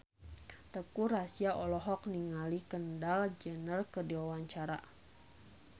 Teuku Rassya olohok ningali Kendall Jenner keur diwawancara